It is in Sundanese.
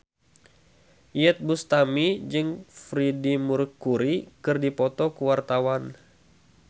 Iyeth Bustami jeung Freedie Mercury keur dipoto ku wartawan